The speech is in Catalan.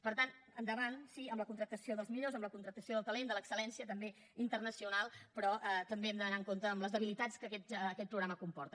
per tant endavant sí amb la contractació dels millors amb la contractació del talent de l’excel·lència també internacional però també hem d’anar amb compte amb les debilitats que aquest programa comporta